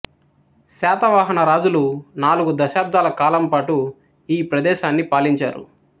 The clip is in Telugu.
శాతవాహన రాజులు నాలుగు శతాబ్దాల కాలం పాటూ ఈ ప్రదేశాన్ని పాలించారు